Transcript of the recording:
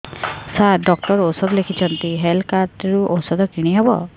ସାର doctor ଔଷଧ ଲେଖିଛନ୍ତି health card ରୁ ଔଷଧ କିଣି ହେବ